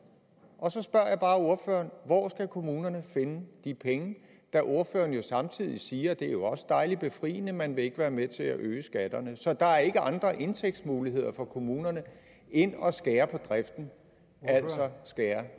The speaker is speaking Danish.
og så spørger jeg bare ordføreren hvor skal kommunerne finde de penge da ordføreren jo samtidig siger og det er også dejlig befriende at man ikke vil være med til at øge skatterne så der er ikke andre indtægtsmuligheder for kommunerne end at skære på driften altså skære